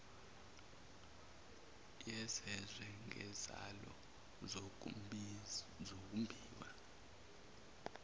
yezezwe nezalo zokumbiwa